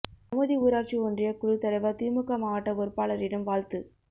கமுதி ஊராட்சி ஒன்றிய குழுத் தலைவா் திமுக மாவட்ட பொறுப்பாளரிடம் வாழ்த்து